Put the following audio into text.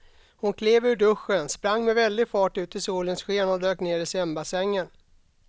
Hon klev ur duschen, sprang med väldig fart ut i solens sken och dök ner i simbassängen.